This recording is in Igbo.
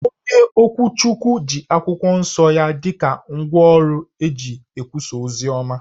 Onye ụkọchukwu ji akwụkwọ nsọ ya dị ka ngwa ọrụ o ji ekwusa oziọma